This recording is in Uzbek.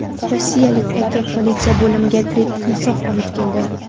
Rossiyalik erkak politsiya bo‘limiga tirik timsoh olib keldi.